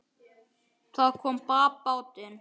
Það kom babb bátinn.